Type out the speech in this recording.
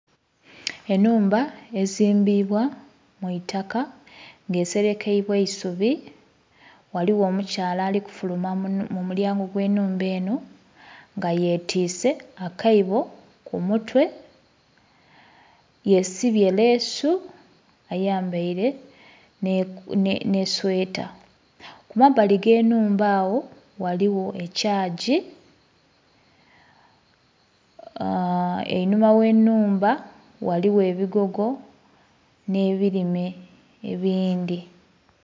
Enhumba ezimbibwa mwitaka nga eserekeibwa isubi ghaligho omukyala ali kufuluma mu mulyango gwe nhumba enho nga ye twise akaibo ku mutwe, yesibye lesuu ayambaire nhe sweeta. Kumabali gwinhuma agho ghaligho ekyaggi..aaa.. einhuma ghe nhumba ghaligho ebigogo nhe birime ebindhi.